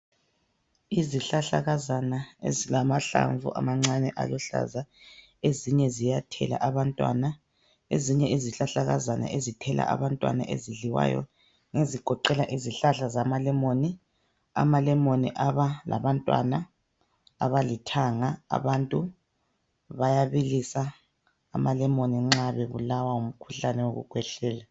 Izihlahlakazana ezilamahlamvu amancane aluhlaza ezinye ziyathela abantwana ezinye izihlahlakazana ezithela abantwana ezidliwayo ngezigoqela izihlahla zamalemoni ,amalemoni aba labantwana abalithanga abantu bayabilisa amalemoni nxa bebulawa ngumkhuhlane wokukhwehlela.